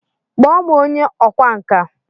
Kpọọ m onye ọkwá nkà!